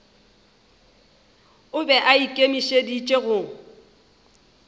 o be a ikemišeditše go